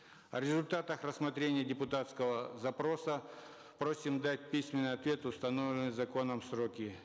о результатах рассмотрения депутатского запроса просим дать письменный ответ в установленные законом сроки